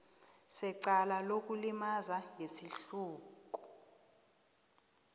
secala lokulimaza ngesihluku